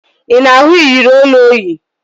Ị na-ahụ iyeri olu o yi?